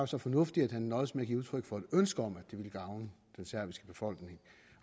så fornuftig at han nøjedes med at give udtryk for et ønske om at det ville gavne den serbiske befolkning